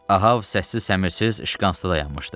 Ahab səssiz-səmirsiz şqanstda dayanmışdı.